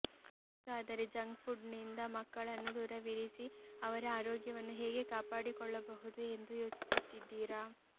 ಹಾಗಾದರೆ ಜಂಕ್ಫುಡ್ನಿಂದ ಮಕ್ಕಳನ್ನು ದೂರವಿರಿಸಿ ಅವರ ಆರೋಗ್ಯವನ್ನು ಹೇಗೆ ಕಾಪಾಡಿಕೊಳ್ಳಬಹುದು ಎಂದು ಯೋಚಿಸುತ್ತಿದ್ದೀರಾ